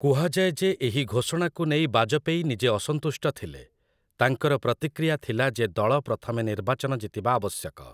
କୁହାଯାଏ ଯେ ଏହି ଘୋଷଣାକୁ ନେଇ ବାଜପେୟୀ ନିଜେ ଅସନ୍ତୁଷ୍ଟ ଥିଲେ, ତାଙ୍କର ପ୍ରତିକ୍ରିୟା ଥିଲା ଯେ ଦଳ ପ୍ରଥମେ ନିର୍ବାଚନ ଜିତିବା ଆବଶ୍ୟକ ।